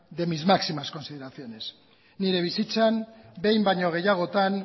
de mis máximas consideraciones nire bizitzan behin baino gehiagotan